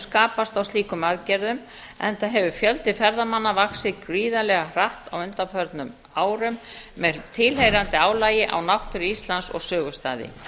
skapast á slíkum aðgerðum enda hefur fjöldi ferðamanna vaxið gríðarlega hratt á undanförnum árum með tilheyrandi álagi á náttúru íslands og sögustaði